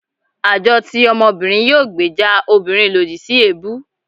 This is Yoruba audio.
àjọ ti ọmọbìnrin yóò gbèjà òbirin lodì si ebú